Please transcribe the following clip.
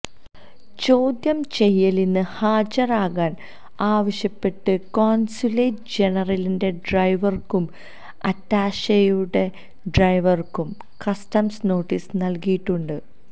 ചോദ്യം ചെയ്യലിന് ഹാജരാകാൻ ആവശ്യപ്പെട്ട് കോൺസുലേറ്റ് ജനറലിന്റെ ഡ്രൈവർക്കും അറ്റാഷെയുടെ ഡ്രൈവർക്കും കസ്റ്റംസ് നോട്ടീസ് നൽകിയിട്ടുണ്ട്